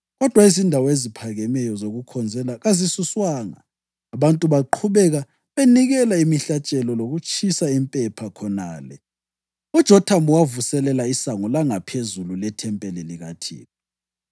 Kodwa izindawo eziphakemeyo zokukhonzela kazisuswanga; abantu baqhubeka benikela imihlatshelo lokutshisa impepha khonale. UJothamu wavuselela iSango laNgaphezulu lethempeli likaThixo.